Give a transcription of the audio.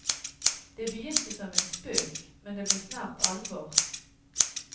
Det begynte som en spøk, men det ble snart alvor.